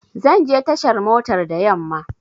Zanje tashar motar da yamma